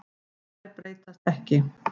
Þær breytast ekki.